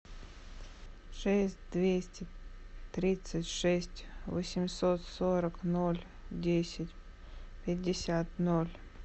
шесть двести тридцать шесть восемьсот сорок ноль десять пятьдесят ноль